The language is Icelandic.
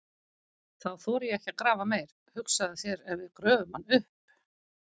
Þá þori ég ekki að grafa meir, hugsaðu þér ef við gröfum hann upp!